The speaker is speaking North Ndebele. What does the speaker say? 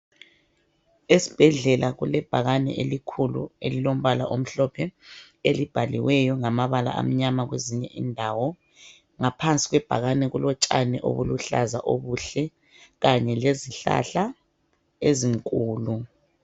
Esibhedlela kulebhakane elikhulu elilombala omhlophe elibhaliweyo ngamabala amnyama kwezinye indawo. Ngaphansi kwebhakane kulotshani obuluhlaza obuhle kanye lezihlahla ezinkulu.